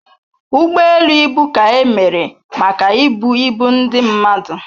Ụgbọ elu ibu ka emere maka ibu ibu ndị mmadụ